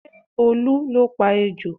Ṣé Olu ló pa ejò?